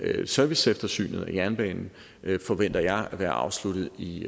serviceeftersynet af jernbanen forventer jeg at være afsluttet i